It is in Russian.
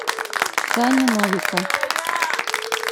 сани новика